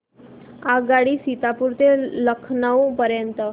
आगगाडी सीतापुर ते लखनौ पर्यंत